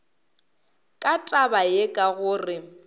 ka taba ye ka gore